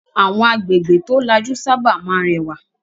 Àwọn agbègbè tó lajú sábà máa ń rẹwà.